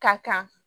Ka kan